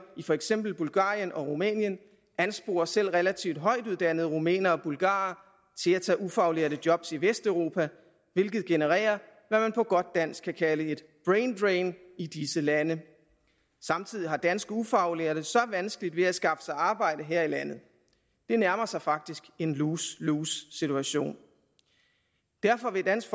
i for eksempel bulgarien og rumænien ansporer selv relativt højt uddannede rumænere og bulgarere til at tage ufaglærte jobs i vesteuropa hvilket genererer hvad man på godt dansk kan kalde et braindrain i disse lande samtidig har danske ufaglærte vanskeligt ved at skaffe sig arbejde her i landet det nærmer sig faktisk en lose lose situation derfor vil dansk